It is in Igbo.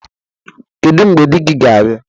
Kedu mgbe di gị ga-abia?